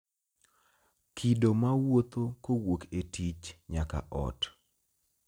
Kido ma wuotho kowuok e tich nyaka ot